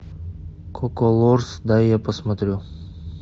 коколорс дай я посмотрю